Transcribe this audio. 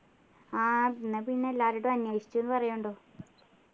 ആഹ് എന്ന പിന്നെ എല്ലാരോടും അന്വേഷിച്ചു ന്നു പറയുണ്ടു